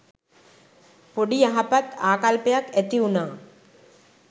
පොඩි යහපත් ආකල්පයක් ඇති වුනා.